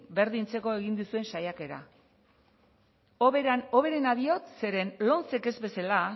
berdintzeko egin duzuen saiakera hoberena diot zeren lomcek ez bezela